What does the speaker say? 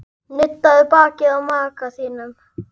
Nuddaðu bakið á maka þínum.